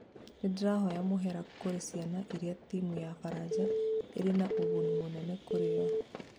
nĩndirahoya mũhera kũri ciana iria timu ya baranja ĩrĩ na ũgũni mũnene kũrio"